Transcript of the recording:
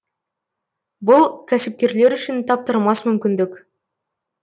бұл кәсіпкерлер үшін таптырмас мүмкіндік